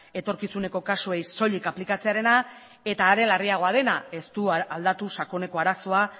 etorkizuneko kasuei soilik aplikatzearena eta are larriagoa dena ez du aldatu sakoneko arazoa